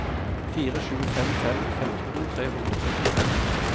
fire sju fem fem femten tre hundre og syttifem